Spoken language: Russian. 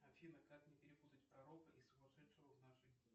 афина как не перепутать пророка и сумасшедшего в наши дни